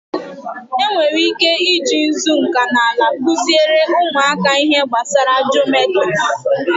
E nwere ike i ji nzu nkanala kụziere ụmụaka ihe gbasara jometri.